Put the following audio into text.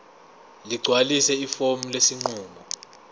ligcwalise ifomu lesinqumo